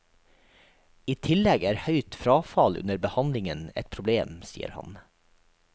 I tillegg er høyt frafall under behandlingen et problem, sier han.